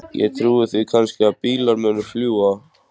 Ég trúi því kannski að bílar muni fljúga.